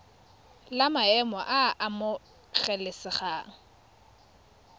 la maemo a a amogelesegang